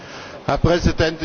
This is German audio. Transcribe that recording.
Herr Präsident!